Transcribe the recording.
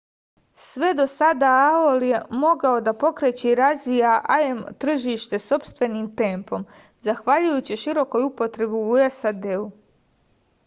sve do sada aol je mogao da pokreće i razvija im tržište sopstvenim tempom zahvaljujući širokoj upotrebi u sad